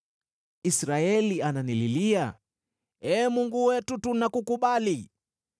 Israeli ananililia, ‘Ee Mungu wetu, tunakukubali!’